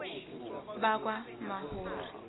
bakamahori